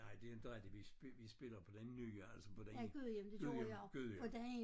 Nej det ændrede de vi vi spiller på den nye altså på den Gudhjem Gudhjem